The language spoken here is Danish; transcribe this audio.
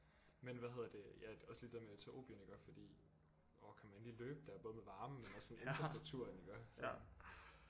Men hvad hedder det ja også lige det der med Etiopien iggå fordi orh kan man lige løbe der både med varmen men også sådan infrastrukturen iggå sådan